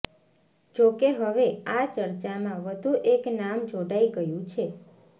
જોકે હવે આ ચર્ચામાં વધુ એક નામ જોડાઇ ગયું છે